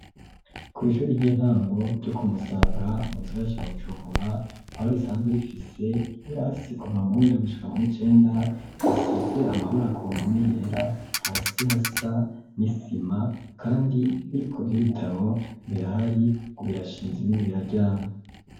Kw'ishuri ry'intango ryoku Musaga mu gisagara ca Bujumbura, aho risanzwe rifise ibirasi kuva muw'indwi gushika mu w'icenda, risize amabara kumpame yera, hasi hasa n'isima, kandi ibibiko bw'ibitabo birahari, birashinze ibindi bararyamye.